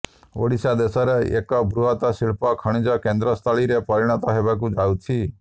ଓଡ଼ିଶା ଦେଶର ଏକ ବୃହତ୍ ଶିଳ୍ପ ଖଣିଜ କେନ୍ଦ୍ରସ୍ଥଳୀରେ ପରିଣତ ହେବାକୁ ଯାଉଛି